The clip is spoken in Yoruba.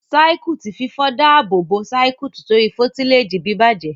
Circuit fífọ dá ààbò bó Circuit tori foliteji bibajẹ.